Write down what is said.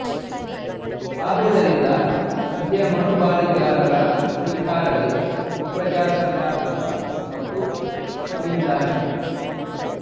ಆದುದರಿಂದ ಸದ್ಯ ಮನು ಬಳಿಗಾರರ ಅಧಿಕಾರವೇ ಅಪ್ರಜಾಸತ್ತಾತ್ಮಕ ಮತ್ತು ಅಸಾಂವಿಧಾನಿಕ